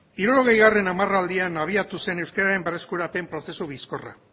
hirurogeigarrena hamarraldian abiatu zen euskeraren berreskurapen prozesu bizkorra